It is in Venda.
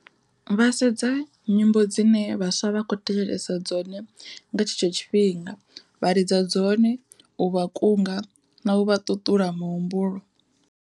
Vha sedza nyimbo dzine vhaswa vha kho thetshelesa dzone nga tshetsho tshifhinga, vha lidza dzone u vha kunga na u vha ṱuṱula muhumbulo.